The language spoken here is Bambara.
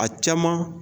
A caman